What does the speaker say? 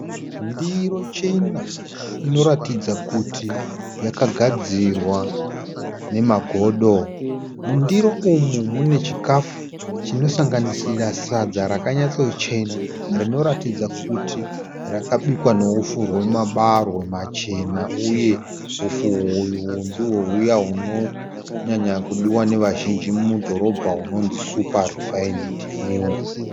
Ndiro chena inoratidza kuti yakagadzirwa nemagodo. Mundiro umu munechikafu chinosanganisira sadza rakanyatsochena rinoratidza kuti rakabikwa neupfu hwemabarwe machena uye upfu uhwu ndihwo hwuya hwunonyanyakudihwa nevazhinji mudhorobha hwunonzi Super Refined Meal.